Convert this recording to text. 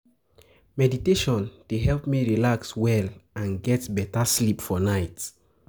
Meditation dey help me relax well and get beta sleep for night.